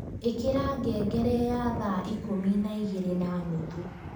ĩkira ngngere ya thaa ikũmi na igĩrĩ na nuthu